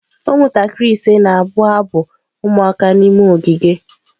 Ụmụntakịrị ise na-abụ abụ ụmụaka n'ime ogige.